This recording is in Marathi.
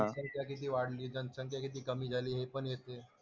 संख्या किती वाढली, जनसंख्या किती कमी झाली हे पण येते.